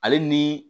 Ale ni